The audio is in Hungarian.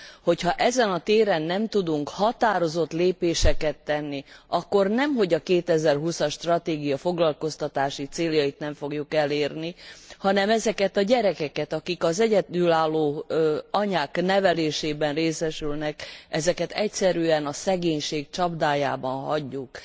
Hogyha ezen a téren nem tudunk határozott lépéseket tenni, akkor nemhogy a 2020 as stratégia foglalkoztatási céljait nem fogjuk elérni, hanem ezeket a gyerekeket akik az egyedülálló anyák nevelésében részesülnek ezeket egyszerűen a szegénység csapdájában hagyjuk.